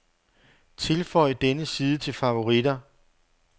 Tilføj denne side til favoritter.